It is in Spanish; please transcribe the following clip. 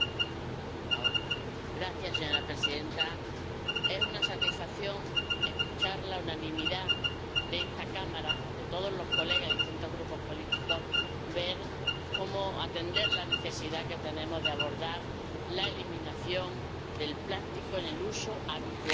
Señora presidenta, es una satisfacción escuchar la unanimidad de esta Cámara, de todos los colegas de distintos grupos políticos, a la hora de ver cómo atender a la necesidad que tenemos de abordar la eliminación del plástico en el uso habitual de nuestra vida.